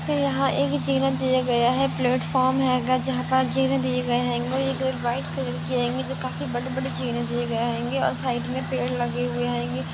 यहाँ एक जिना दिया गया है प्लेटफॉर्म हैं अगर जहां पर जिना दिए गये हैंगो एक व्हाइट कलर की हेंगी जो काफी बड़ी- बड़ी जीने दिए गए हेंगे और साइड मे पेड़ लगे हुए हेंगे।